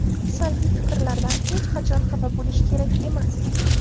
Salbiy fikrlardan hech qachon xafa bo‘lish kerak emas.